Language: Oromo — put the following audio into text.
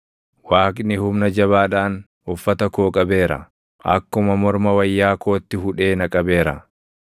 Waaqni humna jabaadhaan uffata koo qabeera; akkuma morma wayyaa kootti hudhee na qabeera.